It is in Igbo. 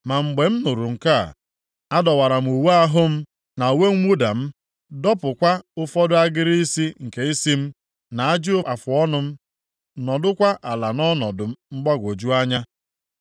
Ma mgbe m nụrụ nke a, adọwara m uwe ahụ m na uwe mwụda m, + 9:3 ịdọwa uwe bụ otu ihe na-egosi ọnọdụ iru ụjụ. E depụtara nke a nʼakwụkwọ \+xt Lev 10:6; Neh 13:25; 10:29-30.\+xt* dọpụkwa ụfọdụ agịrị isi nke isi m, na ajị afụọnụ m, nọdụkwa ala nʼọnọdụ mgbagwoju anya.